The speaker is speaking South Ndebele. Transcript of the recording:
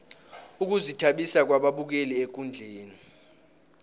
ukuzithabisa kwababukeli ekundleni